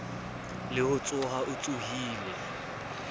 le ho tsoha o tsohile